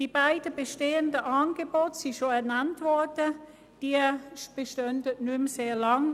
Die beiden bestehenden Angebote wurden bereits genannt, und sie bestehen nicht mehr lange.